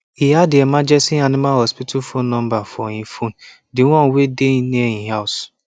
he add the emergency animal hospital phone number for e phone d one wey dey near e house